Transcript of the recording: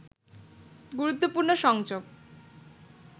গুরুত্বপূর্ণ সংযোগ